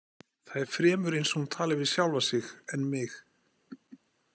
Það er fremur eins og hún tali við sjálfa sig en mig.